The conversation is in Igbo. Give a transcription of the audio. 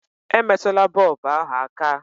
Emetụla bọlbụ ahụ aka!